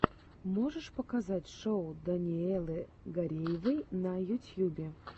можешь показать шоу даниэлы гареевой на ютьюбе